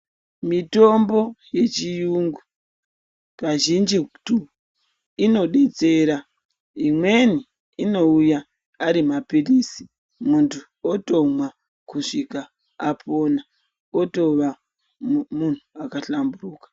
Mitombo yechirungu kazhinjitu inodetsera imweni inouya ari mapirizi muntu otomwa kana apona otova muntu akahlamburika.